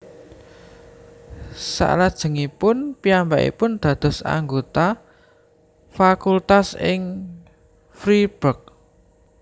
Salajengipun piyambakipun dados anggota fakultas ing Freiburg